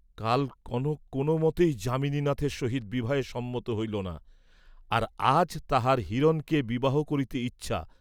কাল কনক কোন মতেই যামিনীনাথের সহিত বিবাহে সম্মত হইল না, আর আজ তাহার হিরণকে বিবাহ করিতে ইচ্ছা!